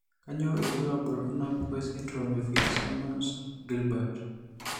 Kainyio irbulabul onaapuku esindirom eFitzsimmons Guilbert?